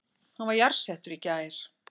Hann var jarðsettur í gær